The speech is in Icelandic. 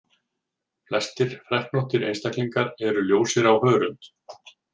Flestir freknóttir einstaklingar eru ljósir á hörund.